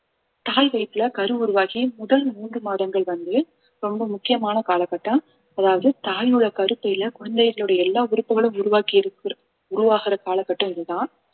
தாய் வயித்துல கரு உருவாகி முதல் மூன்று மாதங்கள் வந்து ரொம்ப முக்கியமான கால கட்டம் அதாவது தாயோட கருப்பையில குழந்தைகளுடைய எல்லா உறுப்புகளும் உருவாக்கி உருவாகிற கால கட்டம் இதுதான்